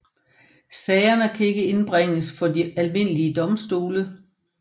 Sagerne kan ikke indbringes for de almindelige domstole